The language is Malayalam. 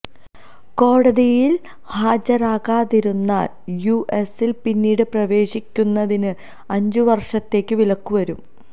കോടതിയില് ഹാജരാകാതിരുന്നാല് യുഎസില് പിന്നീട് പ്രവേശിക്കുന്നതിന് അഞ്ചു വര്ഷത്തേക്കു വിലക്കു വരും